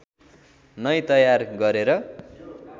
नै तयार गरेर